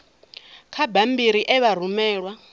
kha bammbiri e vha rumelwa